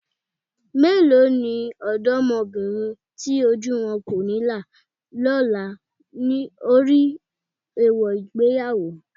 Mélòó ni ọ̀dọ́mọbìnrin tí ojú wọn kò ní là lọ́la lórí èèwọ̀ ìgbéyàwó?